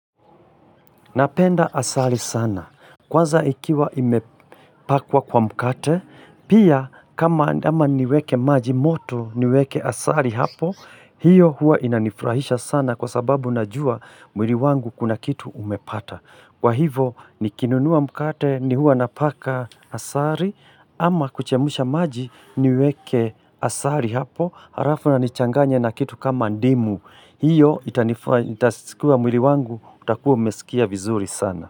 Napenda asali sana. Kwanza ikiwa imepakwa kwa mkate, pia kama ama niweke maji moto niweke asali hapo, hiyo hua inanifrahisha sana kwa sababu najua mwili wangu kuna kitu umepata. Kwa hivo nikinunua mkate ni hua napaka asari ama kuchemusha maji niweke asari hapo harafu na nichanganya na kitu kama ndimu. Hiyo itanifa itasikua mwili wangu utakuwa umesikia vizuri sana.